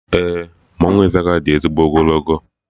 Ee, mmanwụ Izaga di ezigbo ogologo